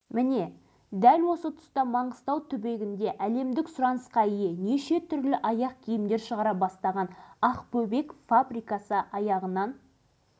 сол кезде елімізде аяқ киім әсіресе әйелдердің аяқ киімі зәру тауарлардың біріне айналып тұрған еді